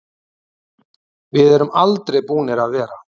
Við erum aldrei búnir að vera.